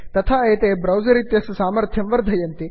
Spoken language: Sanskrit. तथा एते ब्रौसर् इत्यस्य सामर्थ्यं वर्धयन्ति